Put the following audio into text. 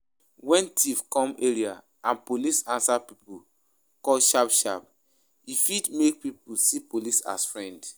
When thief come area and police answer pipo call sharp sharp, e fit make pipo see police as friend